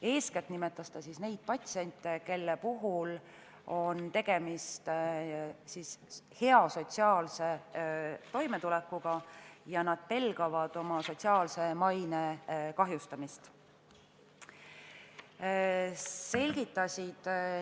Eeskätt nimetas ta neid patsiente, kes tulevad sotsiaalselt hästi toime ja kes pelgavad oma sotsiaalse maine kahjustamist.